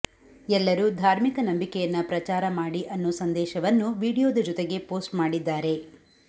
ಎಲ್ಲರೂ ಧಾರ್ಮಿಕ ನಂಬಿಕೆಯನ್ನ ಪ್ರಚಾರ ಮಾಡಿ ಅನ್ನೋ ಸಂದೇಶವನ್ನೂ ವಿಡಿಯೋದ ಜೊತೆಗೆ ಪೋಸ್ಟ್ ಮಾಡಿದ್ದಾರೆ